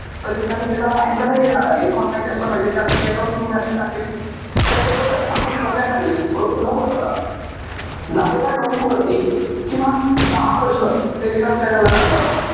तर मी live येणार आहे का नाही येणारे, हे तुम्हाला माहिती असलं पाहिजे. त्यासाठी यांच्यारती मी message टाकेल. त्यासोबतच, आपण संध्याकाळी रोज नऊ वाजता झालेल्या topic वरती, किमान दहा प्रश्न टेलिग्राम channel ला टाकणार आहोत.